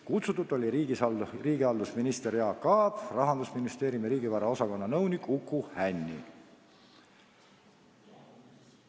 Kutsutud olid riigihalduse minister Jaak Aab ja Rahandusministeeriumi riigivara osakonna nõunik Uku Hänni.